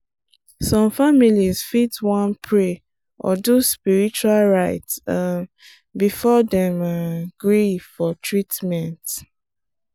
some families fit wan pray or do spiritual rite um before dem um gree for treatment.